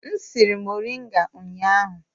M siri moringa ụnyahụ.